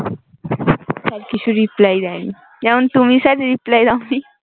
sir কিছু reply দেয় নি যেমন তুমি স্যার এর reply দাও নি